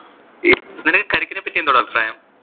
ഈ നിനക്ക് കരിക്കിനെ പറ്റി എന്തുവാടാ അഭിപ്രായം?